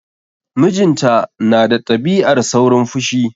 Mijinta na da ɗabi'ar saurin fushi.